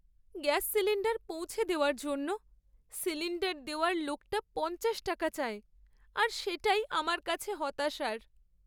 Gas cylinder পৌঁছে দেওয়ার জন্য সিলিণ্ডার দেওয়ার লোকটা পঞ্চাশ টাকা চায় আর সেটাই আমার কাছে হতাশার!